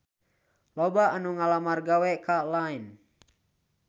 Loba anu ngalamar gawe ka Line